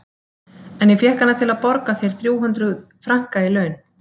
En ég fékk hana til að borga þér þrjú hundruð franka í laun.